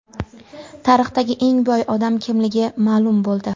Tarixdagi eng boy odam kimligi ma’lum bo‘ldi.